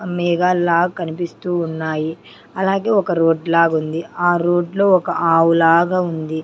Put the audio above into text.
మేఘాల్లాగా కనిపిస్తూ ఉన్నాయి అలాగే ఒక రోడ్ లాగా ఉంది ఆ రోడ్లో ఒక ఆవు లాగా ఉంది.